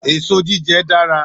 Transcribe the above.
Èso jíjẹ dára.